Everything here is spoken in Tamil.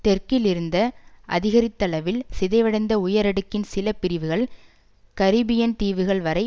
தெற்கில் இருந்த அதிகரித்தளவில் சிதைவடைந்த உயரடுக்கின் சில பிரிவுகள் கரிபியன் தீவுகள் வரை